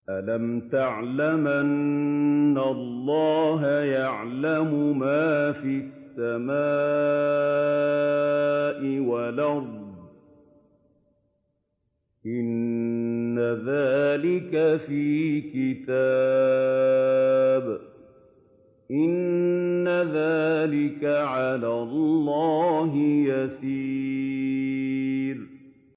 أَلَمْ تَعْلَمْ أَنَّ اللَّهَ يَعْلَمُ مَا فِي السَّمَاءِ وَالْأَرْضِ ۗ إِنَّ ذَٰلِكَ فِي كِتَابٍ ۚ إِنَّ ذَٰلِكَ عَلَى اللَّهِ يَسِيرٌ